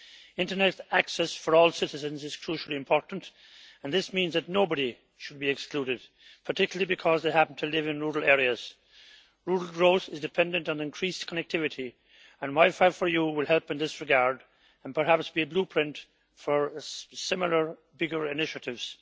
Internet access for all citizens is crucially important and this means that nobody should be excluded, particularly because they happen to live in rural areas. Rural growth is dependent on increased connectivity, and WiFi4EU will help in this regard and perhaps be a blueprint for similar bigger initiatives.